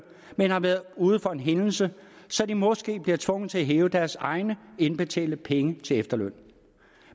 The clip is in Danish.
men har været ude for en hændelse så de måske bliver tvunget til at hæve deres egne indbetalte penge til efterløn